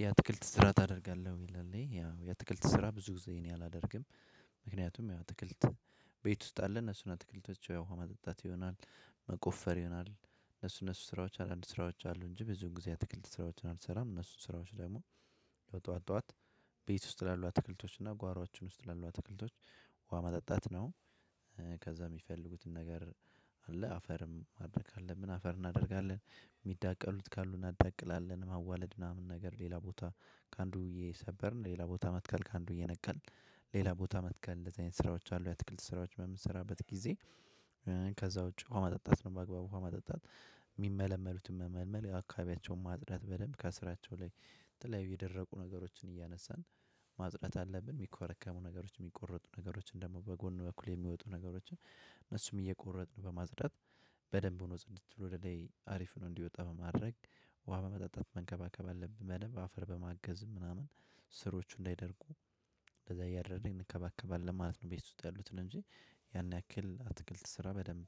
የአትክልት ስራ ታደርጋለህ? ይላል ያው የአትክልት ስራ ብዙ ጊዜ እኔ አላደርግም። ምክንያቱም አትክልት ቤት ውስጥ አለ እነሱን አትክልቶች ውሃ ማጠጣት ይሆናል መቆፈር ይሆናል እነሱ እነሱ ስራዎች አንዳንድ ስራዎች አሉ እንጂ ብዙውን ጊዜ አትክልት ስራዎችን አልሰራም። እነሱን ስራዎች ደግሞ ያው ጠዋት ጠዋት ቤት ውስጥ ላሉ አትክልቶች እና ጓሯችን ውስጥ ላሉ አትክልቶች ውሃ ማጠጣት ነው። ከዛ የሚፈልጉትን ነገር አለ አፈር ማድረግ ካለብን አፈር እናደርጋለን። የሚዳቀሉት ካሉ እናዳቅላለን። መዋለድ ምናምን ነገር ሌላ ቦታ ከአንዱ እየሰበርን ሌላ ቦታ መትከል ከአንዱ እየነቀልን ሌላ ቦታ መትከል እንደዚህ አይነት ስራዎች አሉ። የትክልት ስራዎች በምትሰራበት ጊዜ ከዛ ውጪ ውሃ ማጠጣት ነው በአግባቡ ውሃ ማጠጣት የሚመለመሉትን መመልመል አካባቢያቸውን ማጽዳት በደንብ ከስራቸው ላይ ተለያዩ የደረቁ ነገሮችን እያነሳን ማጽዳት አለብን። የሚኮረከሙ ነገሮች የሚቆረጡ ነገሮችን ደግሞ በጎን በኩል የሚወጡ ነገሮችን እነሱም እየቆረጥን በማጽዳት በደንብ ሆኖ ፀድት ብሎ ወደ ላይ አሪፍ ነው እንዲወጣ በማድረግ ውሃ በማጠጣት መንከባከብ አለብን። በደንብ አፈር በማገዝ ምናምን ስሮቹ እንዳይደርጉ እንደዛ እያደረግን እንከባከባለን ማለት ነው። እቤት ውስጥ ያሉት ነገር እንጂ ያን ያክል አትክልት ስራ በደንብ